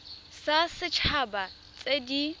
tsa set haba tse di